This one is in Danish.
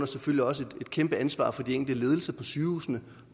selvfølgelig også et kæmpe ansvar for de enkelte ledelser på sygehusene